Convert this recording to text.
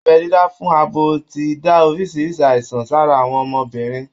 Abẹ́ dídá fún abo ti dá oríṣiríṣi àìsàn sára àwọn ọmọbìnrin